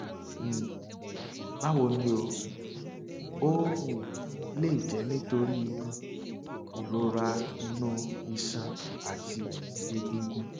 um báwo ni o ó um lè jẹ nítorí um ìrora inú iṣan àti egungun